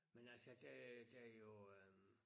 Men altså der der jo øh